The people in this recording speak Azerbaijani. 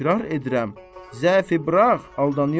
Təkrar edirəm, zəifi burax, aldanıyorsun.